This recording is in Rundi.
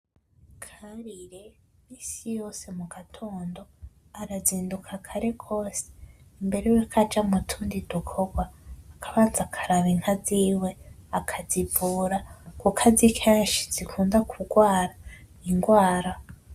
Karire minsi yose mu gatondo arazinduka kare gose mbere yuko aja mutundi dukorwa, akabanza akaraba inka ziwe akazivura kuko azi kenshi zikunda kurwara indwara.